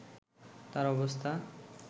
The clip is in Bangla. তার অবস্থা